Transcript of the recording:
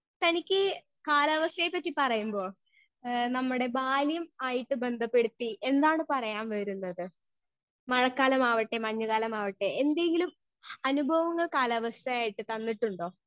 Speaker 1 തനിക്ക് കലാവസ്ഥയെ പറ്റി പറയുമ്പോ എ നമ്മടെ ബാല്യം ആയിട്ട് ബന്ധപ്പെടുത്തി എന്താണ് പറയാൻ വരുന്നത് മഴക്കാലമാവട്ടെ മഞ്ഞ് കാലമാവട്ടെ എന്തെങ്കിലും അനുഭവങ്ങൾ കാലാവസ്ഥയായിട്ട് തന്നിട്ടുണ്ടോ.